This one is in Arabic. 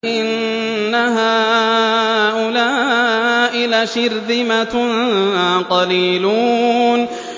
إِنَّ هَٰؤُلَاءِ لَشِرْذِمَةٌ قَلِيلُونَ